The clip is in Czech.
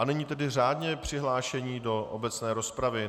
A nyní tedy řádně přihlášení do obecné rozpravy.